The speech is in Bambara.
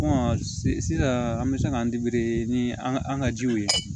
sisan an bɛ se k'an ni an ka jiw ye